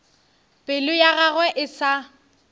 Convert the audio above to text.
pelo ya gagwe e sa